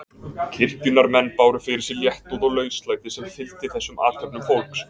Kirkjunnar menn báru fyrir sig léttúð og lauslæti sem fylgdi þessum athöfnum fólks.